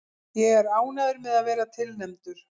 Ég er ánægður með að vera tilnefndur.